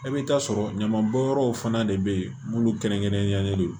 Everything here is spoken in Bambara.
E bɛ taa sɔrɔ ɲamanbɔnyɔrɔw fana de be yen minnu kɛrɛnkɛrɛnnen don